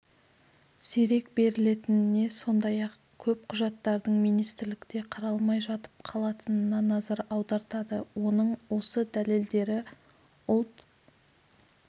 сирек берілетініне сондай-ақ көп құжаттардың министрлікте қаралмай жатып қалатынына назар аудартады оның осы дәлелдері ұлт